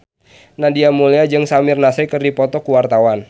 Nadia Mulya jeung Samir Nasri keur dipoto ku wartawan